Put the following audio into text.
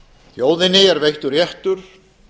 þjóðinni er veittur réttur